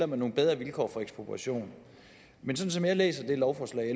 med nogle bedre vilkår for ekspropriation men sådan som jeg læser lovforslaget